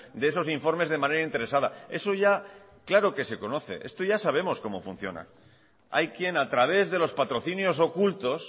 de esos informes de manera interesada eso ya claro que se conoce esto ya sabemos cómo funciona hay quien a través de los patrocinios ocultos